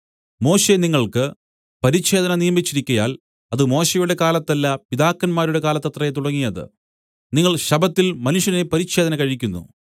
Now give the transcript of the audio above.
മോശെ നിങ്ങൾക്ക് പരിച്ഛേദന നിയമിച്ചിരിക്കയാൽ അത് മോശെയുടെ കാലത്തല്ല പിതാക്കന്മാരുടെ കാലത്തത്രേ തുടങ്ങിയത് നിങ്ങൾ ശബ്ബത്തിൽ മനുഷ്യനെ പരിച്ഛേദന കഴിക്കുന്നു